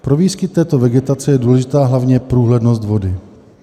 Pro výskyt této vegetace je důležitá hlavně průhlednost vody.